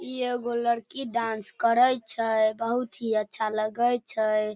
ई एगो लड़की डांस करई छए बहुत ही अच्छा लगई छए।